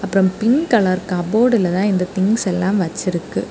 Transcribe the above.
அப்புறம் pink colour கப்போர்ட்ல தா இந்த திங்ஸ் எல்லாம் வச்சிருக்கு.